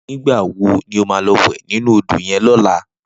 Nigbá wó ni ó má lò wè ninú ódó yèn lòlá?